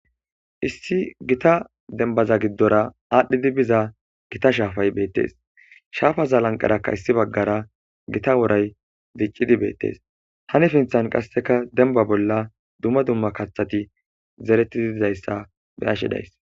Issi gita denbaza giddora aadhdhidi biza gita shaafay beettes shaafaza lanqarakka issi baggara gita woray ziccidi beettes hani finthan qasseka denba bolla dumma dumma kaththati zereti didizayssa be ashe days.